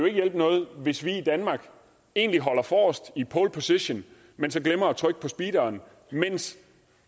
hjælpe noget hvis vi i danmark egentlig holder forrest i pole position men så glemmer at trykke på speederen mens